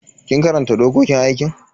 Kin karanta dokokin aikin?